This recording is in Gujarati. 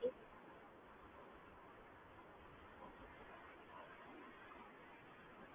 તો શું જયારે activated ના હોય, આપડે બંધ કરવું હોય, uninstall આપડે કરી દઈએ તો કોઈને આપડો આયડી પાસવર્ડ કાંસુ મળે કે મતલબ બેંક ની હા મિસયુઝ કરી શકે એવું તેવું